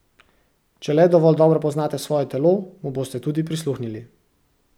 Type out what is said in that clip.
Če le dovolj dobro poznate svoje telo, mu boste tudi prisluhnili.